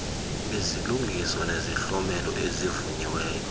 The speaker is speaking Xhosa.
izilungiso nezihlomelo ezivunyiweyo